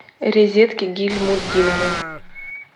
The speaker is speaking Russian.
резедке гильмутдиновой